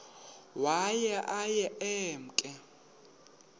waye aye emke